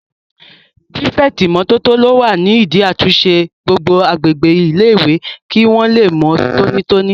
Pírífẹ̀tì ìmótótó ló wà nídi àtúnṣe gbogbo agbègbè ilé-ìwé kí wọ́n lè mọ́ tóní tóní